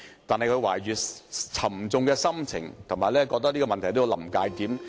他懷着沉重的心情，感到這個問題正處於"臨界點"。